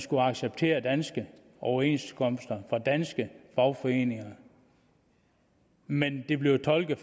skulle acceptere danske overenskomster fra danske fagforeninger men det blev tolket